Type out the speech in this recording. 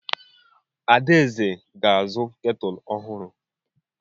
Adaeze ga-azụ ketụlụ ọhụrụ.